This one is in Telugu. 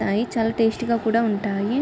కానీ చాలా టేస్ట్ గా కూడా ఉంటాయి.